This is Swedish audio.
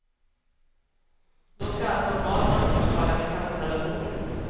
Då ska allt normalt ansvarstagande kastas överbord.